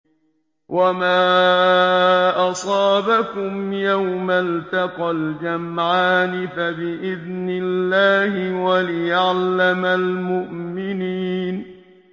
وَمَا أَصَابَكُمْ يَوْمَ الْتَقَى الْجَمْعَانِ فَبِإِذْنِ اللَّهِ وَلِيَعْلَمَ الْمُؤْمِنِينَ